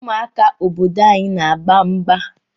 Ụmụaka obodo anyị n'agba mgba.